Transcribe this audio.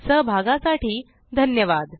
सहभागासाठी धन्यवाद